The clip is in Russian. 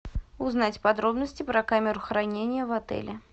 узнать подробности про камеру хранения в отеле